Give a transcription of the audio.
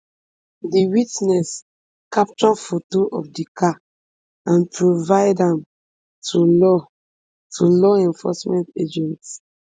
di witness capture foto of di car and provide am to law to law enforcement agents